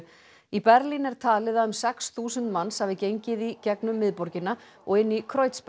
í Berlín er talið að um sex þúsund hafi gengið í gegnum miðborgina og inn í